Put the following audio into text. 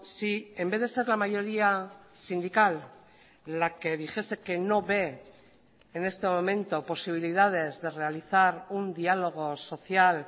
si en vez de ser la mayoría sindical la que dijese que no ve en este momento posibilidades de realizar un diálogo social